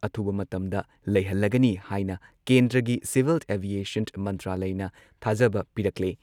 ꯑꯊꯨꯕ ꯃꯇꯝꯗ ꯂꯩꯍꯜꯂꯒꯅꯤ ꯍꯥꯏꯅ ꯀꯦꯟꯗ꯭ꯔꯒꯤ ꯁꯤꯚꯤꯜ ꯑꯦꯚꯤꯑꯦꯁꯟ ꯃꯟꯇ꯭ꯔꯥꯂꯢꯅ ꯊꯥꯖꯕ ꯄꯤꯔꯛꯂꯦ ꯫